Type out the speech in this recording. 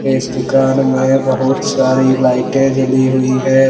इस दुकान में बहुत सारी लाइटें जली हुई हैं।